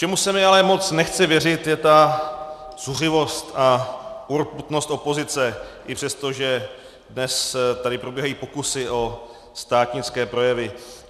Čemu se mi ale moc nechce věřit, je ta zuřivost a urputnost opozice, i přesto, že dnes tady probíhají pokusy o státnické projevy.